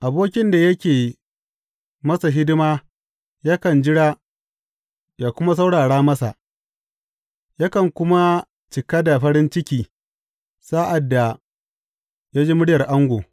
Abokin da yake masa hidima yakan jira ya kuma saurara masa, yakan kuma cika da farin ciki sa’ad da ya ji muryar ango.